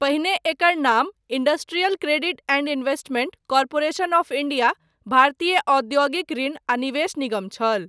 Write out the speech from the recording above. पहिने एकर नाम industrial credit and investment corporation of India भारतीय औद्योगिक ऋण आ निवेश निगम छल।